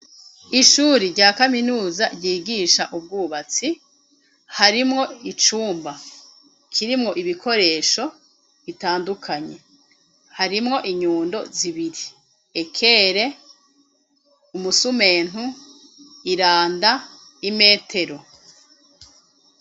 Ishuri rya kaminuza ryigisha ubwubatsi harimwo icumba kirimwo ibikoresho bitandukanye harimwo inyundo zibiri, ekere umusumentu iranda imetero.